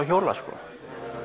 hjóla sko